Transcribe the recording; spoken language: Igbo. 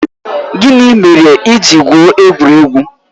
Gịnị mere i ji gwụo egwuregwu?